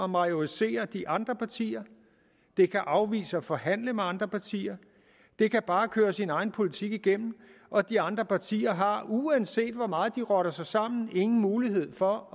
majorisere de andre partier det kan afvise at forhandle med andre partier det kan bare køre sin egen politik igennem og de andre partier har uanset hvor meget de rotter sig sammen ingen mulighed for